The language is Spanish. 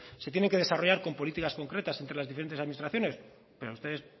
se tienen que desarrollar con políticas concretas entre las diferentes administraciones pero a ustedes